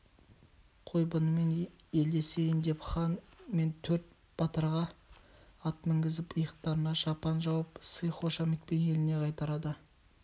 қой бұнымен елдесейін деп хан мен төрт батырға ат мінгізіп иықтарына шапан жауып сый-хошаметпен еліне қайтарады